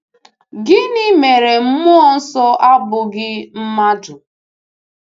Gịnị mere Mmụọ Nsọ abụghị mmadụ?